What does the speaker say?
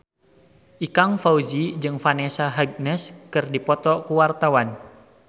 Ikang Fawzi jeung Vanessa Hudgens keur dipoto ku wartawan